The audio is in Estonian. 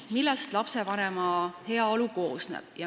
Millest lapsevanema heaolu koosneb?